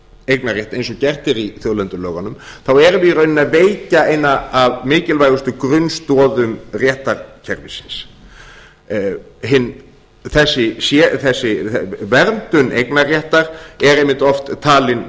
eignarrétt eins og gert er í þjóðlendulögunum þá erum við í rauninni að veikja eina af mikilvægustu grunnstoðum réttarkerfisins þessi verndun eignarréttar er einmitt oft talinn